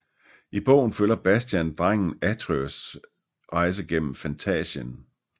I bogen følger Bastian drengen Atreyus rejse gennem Fantásien